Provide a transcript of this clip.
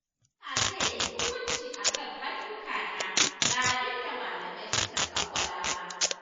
Allah zai yi hukunci a kan ayyukana ba abin da malamai suka tsawwala ba